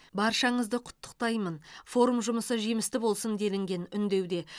баршаңызды құттықтаймын форум жұмысы жемісті болсын делінген үндеуде